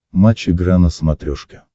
матч игра на смотрешке